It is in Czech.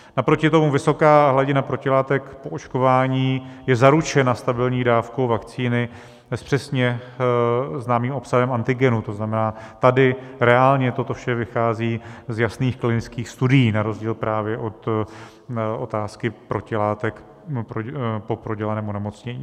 Naproti tomu vysoká hladina protilátek po očkování je zaručena stabilní dávkou vakcíny s přesně známým obsahem antigenu, to znamená, tady reálně toto vše vychází z jasných klinických studií na rozdíl právě od otázky protilátek po prodělaném onemocnění.